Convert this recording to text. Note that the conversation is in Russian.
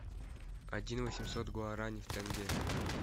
один восемьсот гуарани в тенге